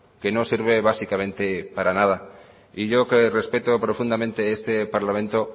que no sirve básicamente para nada y yo que respeto profundamente este parlamento